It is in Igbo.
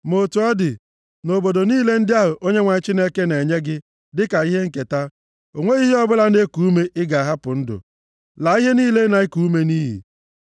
Ma otu ọ dị, nʼobodo niile ndị ahụ Onyenwe anyị Chineke na-enye gị dịka ihe nketa, o nweghị ihe ọbụla na-eku ume ị ga-ahapụ ndụ. Laa ihe niile na-eku ume nʼiyi.